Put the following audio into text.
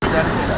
Birdə gəl.